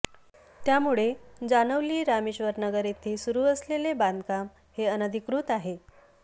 त्यामुळे जानवली रामेश्वरनगर येथे सुरु असले बांधकाम हे अनधिकृत आहे